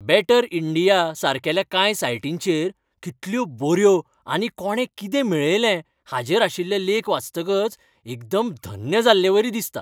Batter India, सारकेल्या कांय सायटींचेर कितल्यो बऱ्यो आनी कोणें कितें मेळयलें हाचेर आशिल्ले लेख वाचतकच एकदम धन्य जाल्लेवरी दिसता.